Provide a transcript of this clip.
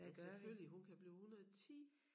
Men selvfølgelig hun kan blive 110